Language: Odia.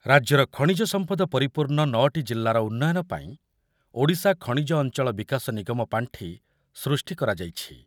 ରାଜ୍ୟର ଖଣିଜ ସଂପଦ ପରିପୂର୍ଣ୍ଣ ନଅଟି ଜିଲ୍ଲାର ଉନ୍ନୟନ ପାଇଁ ଓଡ଼ିଶା ଖଣିଜ ଅଞ୍ଚଳ ବିକାଶ ନିଗମ ପାଣ୍ଠି ସୃଷ୍ଟି କରାଯାଇଛି।